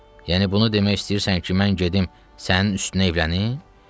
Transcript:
Yəni bunu demək istəyirsən ki, mən gedim sənin üstünə evlənim?